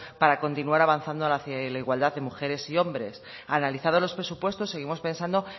para continuar avanzando hacia la igualdad de mujeres y hombres analizados los presupuestos seguimos pensando